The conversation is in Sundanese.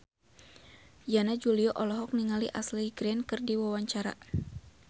Yana Julio olohok ningali Ashley Greene keur diwawancara